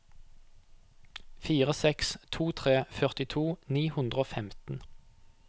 fire seks to tre førtito ni hundre og femten